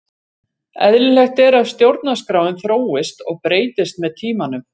Eðlilegt er að stjórnarskráin þróist og breytist með tímanum.